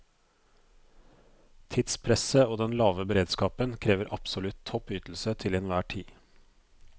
Tidspresset og den lave beredskapen krever absolutt topp ytelse til enhver tid.